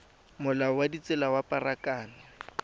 molao wa ditsela wa pharakano